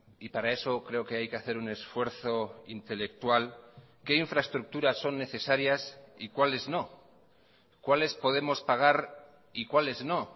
y para eso creo que hay que hacer un esfuerzo intelectual qué infraestructuras son necesarias y cuáles no cuáles podemos pagar y cuáles no